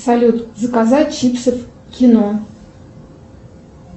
салют заказать чипсы в кино